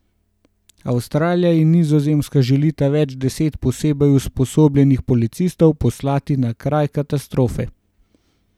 Avstralija in Nizozemska želita več deset posebej usposobljenih policistov poslati na kraj katastrofe.